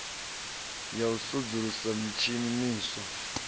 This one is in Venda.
ya u sudzulusa mitshini miswa